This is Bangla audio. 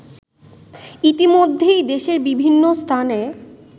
ইতিমধ্যেই দেশের বিভিন্ন স্থানে